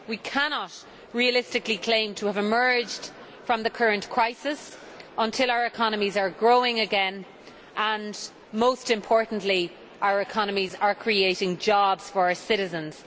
We cannot realistically claim to have emerged from the current crisis until our economies are growing again and, most importantly, our economies are creating jobs for our citizens.